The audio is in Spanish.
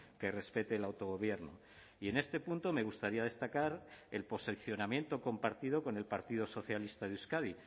que respete el autogobierno y en este punto me gustaría destacar el posicionamiento compartido con el partido socialista de euskadi